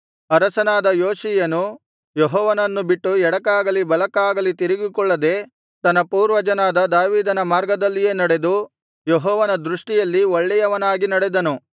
ಅರಸನಾದ ಯೋಷೀಯನು ಯೆಹೋವನನ್ನು ಬಿಟ್ಟು ಎಡಕ್ಕಾಗಲಿ ಬಲಕ್ಕಾಗಲಿ ತಿರುಗಿಕೊಳ್ಳದೆ ತನ್ನ ಪೂರ್ವಜನಾದ ದಾವೀದನ ಮಾರ್ಗದಲ್ಲಿಯೇ ನಡೆದು ಯೆಹೋವನ ದೃಷ್ಟಿಯಲ್ಲಿ ಒಳ್ಳೆಯವನಾಗಿ ನಡೆದನು